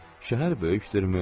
Şəhər böyükdürmü?